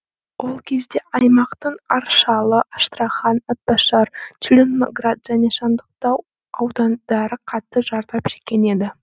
ол кезде аймақтың аршалы астрахан атбасар целиноград және сандықтау аудандары қатты зардап шеккен еді